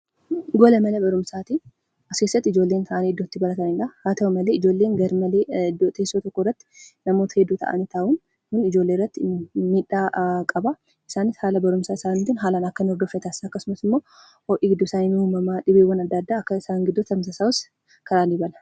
Kun gola Mana Barumsaati. Achi keessattis ijoolleen taa'aanii barachaa kan jiranii dha. Haa ta'u malee ijoolleen teesoo tokko irratti humnaa ol heddumatanii kan jiranii dha. Kunis barnoota qulqullina qabu kennuu fi fayyaa ijoollee irratti rakkoo kan qabuu dha.